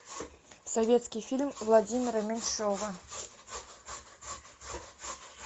советский фильм владимира меньшова